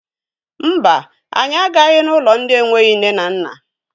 Mba, anyị agaghị n'ụlọ ndị enweghi nne na nna.